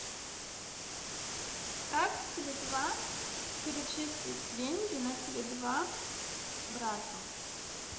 как с теле два перечислить деньги на теле два брату